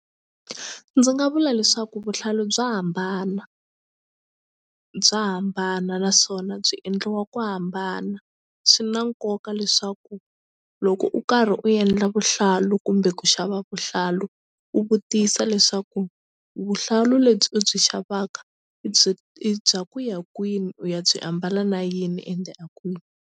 Ndzi nga vula leswaku vuhlalu bya hambana bya hambana naswona byi endliwa ku hambana swi na nkoka leswaku loko u karhi u endla vuhlalu kumbe ku xava vuhlalu u vutisa leswaku vuhlalu lebyi u byi xavaka i byi i bya ku ya kwini u ya byi ambala na yini ende a kwini.